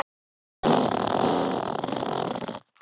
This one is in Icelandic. Hann var með öllu vanbúinn fyrir þess háttar feigðarflan.